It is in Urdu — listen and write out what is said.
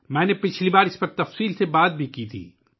میں نے پچھلی بار بھی اس پر تفصیل سے بات کی تھی